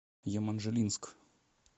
еманжелинск